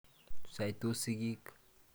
Saitos sigik.